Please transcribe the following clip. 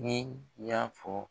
Ni y'a fɔ